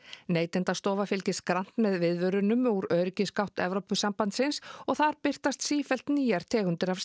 Neytendastofa fylgist grannt með viðvörunum úr Evrópusambandsins og þar birtast sífellt nýjar tegundir af